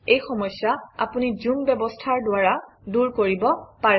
এই সমস্যা আপুনি জুম ব্যৱস্থাৰ দ্বাৰা দূৰ কৰিব পাৰে